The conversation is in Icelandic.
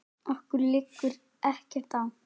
Okkur liggur ekkert á